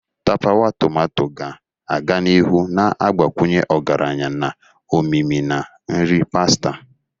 Tapawa tomato ga-aga n'ihu na-agbakwunye ọgaranya na omimi na nri pasta.